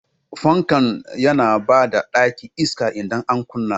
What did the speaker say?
Fanka yana ba ɗaki iska idan an kunna.